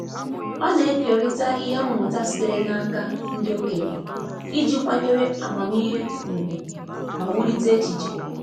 Ọ na-ekerịta ihe mmụta sitere n'aka ndị okenye iji kwanyere amamihe ùgwù ma wulite echiche.